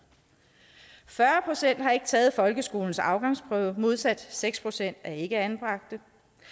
fyrre procent har ikke taget folkeskolens afgangsprøve modsat seks procent af ikkeanbragte